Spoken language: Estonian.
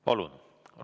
Palun!